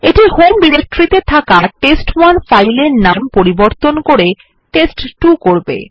এইটি home ডিরেক্টরিতে থাকা test one file এর নাম পরিবর্তন করে টেস্ট2 করবে